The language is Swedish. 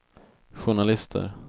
journalister